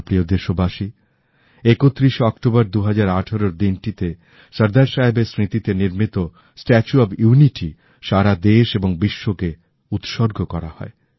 আমার প্রিয় দেশবাসী ৩১এ অক্টোবর ২০১৮ র দিনটি তে সর্দার সাহেবের স্মৃতিতে নির্মিত স্ট্যাচু অফ ইউনিটি সারা দেশ এবং বিশ্ব কে উৎসর্গ করা হয়